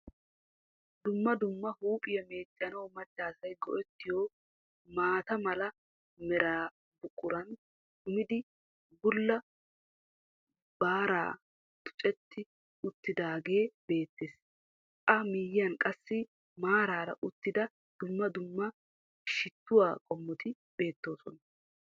Dumma dumma huuphphiya meeccanawu maccaasay go'ettiyo maata mala mera buqqurun kummidi bulla baara tuccetti uttidagee beettees. A miyiyan qassi maaraara uttidi dumma duumma shittuwa qomotti beettoosona.